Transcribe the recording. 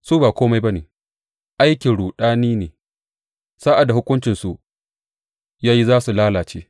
Su ba kome ba ne, aikin ruɗami ne; Sa’ad da hukuncinsu ya yi za su lalace.